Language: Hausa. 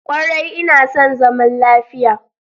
Kwarai ina son zaman lafiya.